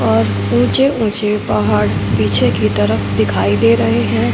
और ऊंचे ऊंचे पहाड़ पीछे की तरफ दिखाई दे रहे हैं।